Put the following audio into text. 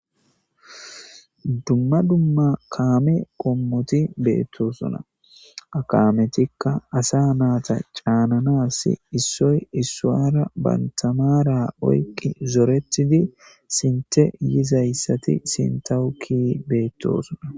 dumma dumma kaame qommoti beettosuna akaametikka asa naata caananas issoy issuwara bantamara oyqqi zoretidi sinte yizayssati sintawuki beettosuna.